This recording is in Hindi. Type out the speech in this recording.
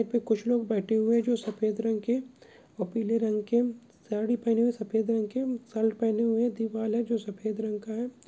पे कुछ लोग बैठे हुए हैं जो सफ़ेद रंग के और पीले रंग के साड़ी पहने हुए हैं सफ़ेद रंग के शर्ट पहने हुए हैं दीवाल है जो सफ़ेद रंग का है।